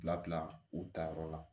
Bila bila u tayɔrɔ la